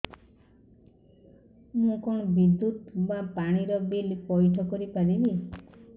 ମୁ କଣ ବିଦ୍ୟୁତ ବା ପାଣି ର ବିଲ ପଇଠ କରି ପାରିବି